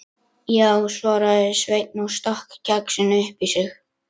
Já, svaraði Sveinn og stakk kexinu upp í sig.